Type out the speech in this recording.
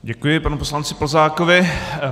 Děkuji panu poslanci Plzákovi.